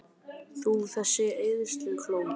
Þú, þessi eyðslukló!